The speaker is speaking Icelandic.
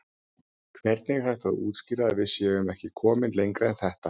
Hvernig er hægt að útskýra að við séum ekki komin lengra en þetta?